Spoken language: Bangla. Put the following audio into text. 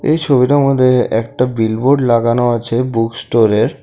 এই ছবিটার মধ্যে একটা বিল বোর্ড লাগানো আছে বুক স্টোরের।